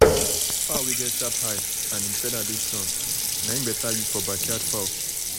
um fowl wey get sharp eye and em feather dey strong um nai better use for backyard fowl.